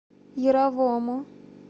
яровому